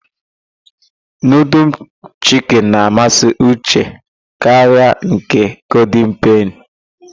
Nudul chiki na-amasị Uche karịa nke golden peni.